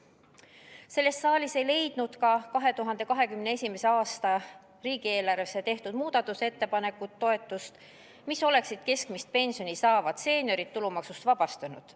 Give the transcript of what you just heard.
Selles saalis ei leidnud toetust ka 2021. aasta riigieelarve kohta tehtud muudatusettepanekud, mis oleksid keskmist pensioni saavad seeniorid tulumaksust vabastanud.